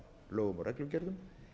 lögum og reglugerðum